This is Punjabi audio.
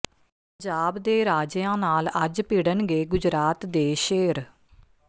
ਪੰਜਾਬ ਦੇ ਰਾਜਿਆਂ ਨਾਲ ਅੱਜ ਭਿੜਨਗੇ ਗੁਜਰਾਤ ਦੇ ਸ਼ੇਰ